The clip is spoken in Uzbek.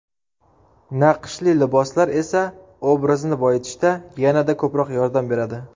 Naqshli liboslar esa obrazni boyitishda yanada ko‘proq yordam beradi.